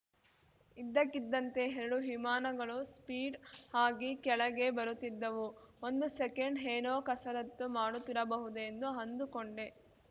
ಇದ್ದಕ್ಕಿದ್ದಂತೆ ಎರಡು ವಿಮಾನಗಳು ಸ್ಪೀಡ್‌ ಆಗಿ ಕೆಳಗೆ ಬರುತ್ತಿದ್ದವು ಒಂದು ಸೆಕೆಂಡ್‌ ಏನೋ ಕಸರತ್ತು ಮಾಡುತ್ತಿರಬಹುದು ಎಂದು ಅಂದುಕೊಂಡೆ